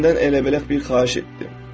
Səndən elə-beləcək bir xahiş etdim.